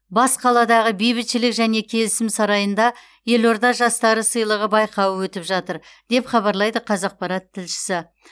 бас қаладағы бейбітшілік және келісім сарайында елорда жастары сыйлығы байқауы өтіп жатыр деп хабарлайды қазақпарат тілшісі